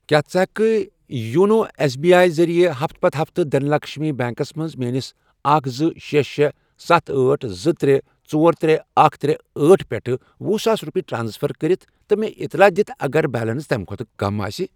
کیٛاہ ژٕ ہٮ۪کہٕ کھہ یونو ایٚس بی آی ذٔریعہٕ ہفتہٕ پتہٕ ہفتہٕ دھن لَکشمی بیٚنٛکس منٛز میٲنِس اکھَ، زٕ، شے، شے، ستھَ، أٹھ، زٕ، ترے، ژور، ترے، اکھَ، ترے، أٹھ، پٮ۪ٹھ ۄہُ ساس رۄپیہِ ٹرانسفر کٔرِتھ تہٕ مےٚ اطلاع دِتھ اگر بیلنس تَمہِ کھۄتہٕ کم آسہِ؟